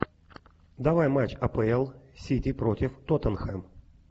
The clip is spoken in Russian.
давай матч апл сити против тоттенхэм